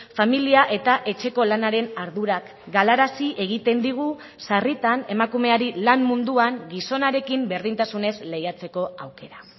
familia eta etxeko lanaren ardurak galarazi egiten digu sarritan emakumeari lan munduan gizonarekin berdintasunez lehiatzeko aukera